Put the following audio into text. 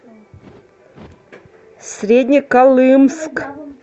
среднеколымск